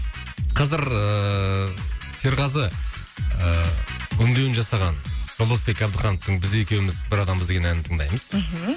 қазір ыыы серғазы ыыы өңдеуін жасаған жолдасбек абдыхановтың біз екеуміз бір адамбыз деген әнін тыңдаймыз мхм